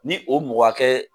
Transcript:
Ni o mɔgɔ hakɛ